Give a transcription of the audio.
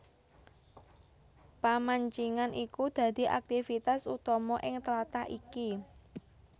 Pamancingan iku dadi aktifitas utama ing tlatah iki